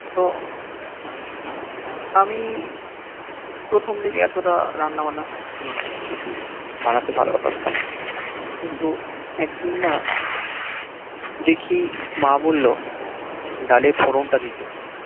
আমি প্রথম দিকে এতটা রান্না বান্নার সখ ছিল না বা কিছু বানাতে ভাল পারতাম না কিন্তু একদিন না দেখি মা বলল ডালের ফোড়ন তা দিতে